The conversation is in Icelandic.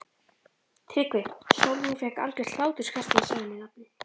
TRYGGVI: Sólrún fékk algert hláturskast þegar ég sagði henni nafnið.